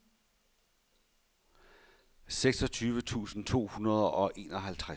seksogtyve tusind to hundrede og enoghalvtreds